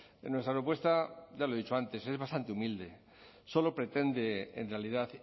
en nuestra propuesta ya lo he dicho antes es bastante humilde solo pretende en realidad